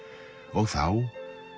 og þá